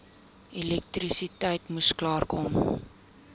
elektrisiteit moes klaarkom